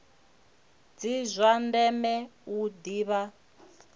ndi zwa ndeme u ḓivha